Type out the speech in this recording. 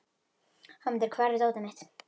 Hámundur, hvar er dótið mitt?